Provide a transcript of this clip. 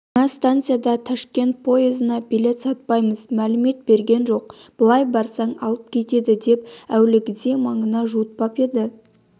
жаңа станцияда ташкент поезына билет сатпаймыз мәлімет берген жоқ былай барсаң алып кетеді деп әуелгіде маңына жуытпап еді